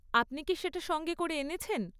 আপনি কি সেটা সঙ্গে করে এনেছেন?